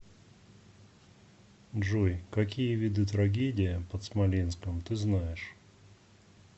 джой какие виды трагедия под смоленском ты знаешь